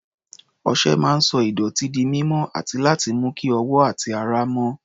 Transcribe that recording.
Ọṣẹ máa ń sọ ìdọ̀tí di mímọ́ àti láti mú kí ọwọ́ àti ara mọ́.